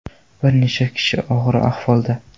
Bir necha kishi og‘ir ahvolda.